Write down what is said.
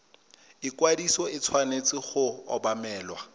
ikwadiso e tshwanetse go obamelwa